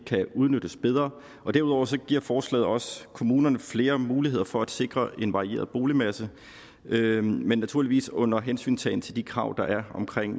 kan udnyttes bedre og derudover giver forslaget også kommunerne flere muligheder for at sikre en varieret boligmasse men naturligvis under hensyntagen til de krav der er omkring